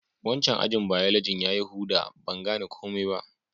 Wancan ajin biology ya yi huda. Ban gane komi ba.